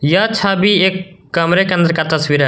यह छवि एक कमरे के अंदर का तस्वीर है।